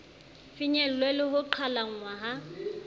finyellwe le ho qhalanngwa ha